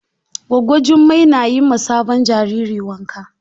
Gwaggo Jummai na yi ma sabon jariri wanka.